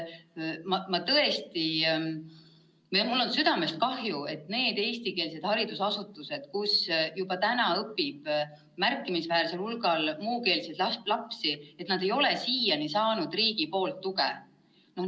Tõesti, mul on südamest kahju, et need eestikeelsed haridusasutused, kus juba praegu õpib märkimisväärne hulk muukeelseid lapsi, ei ole siiani saanud riigilt tuge.